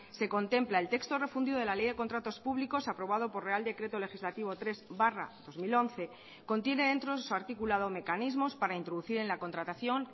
se contempla el texto refundido de la ley de contratos públicos aprobado por real decreto legislativo tres barra dos mil once contiene dentro de su articulado mecanismos para introducir en la contratación